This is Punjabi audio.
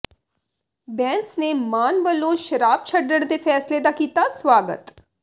ਬੈਂਸ ਨੇ ਮਾਨ ਵਲੋਂ ਸ਼ਰਾਬ ਛੱਡਣ ਦੇ ਫੈਸਲੇ ਦਾ ਕੀਤਾ ਸਵਾਗਤ